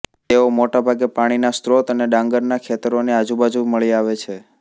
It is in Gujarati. તેઓ મોટેભાગે પાણીના સ્ત્રોત અને ડાંગરના ખેતરોની આજુબાજુ મળી આવે છે